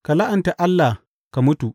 Ka la’anta Allah ka mutu!